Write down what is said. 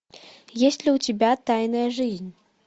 есть ли у тебя тайная жизнь